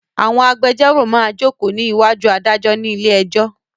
Àwọn agbéjọ́rò máa jókòó ní ìwájú adájọ́ ní ilé ẹjọ́.